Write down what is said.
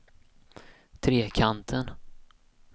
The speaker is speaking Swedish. Trekanten